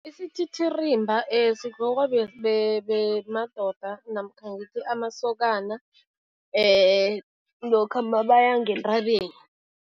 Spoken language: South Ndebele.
Isithithirimba sigqokwa madoda namkha ngithi amasokana lokha mabaya ngentabeni.